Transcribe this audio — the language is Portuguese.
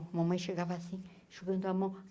A mamãe chegava assim, enxugando a mão.